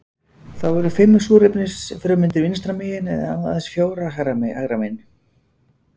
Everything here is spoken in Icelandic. Þá eru fimm súrefnisfrumeindir vinstra megin en aðeins fjórar hægra megin.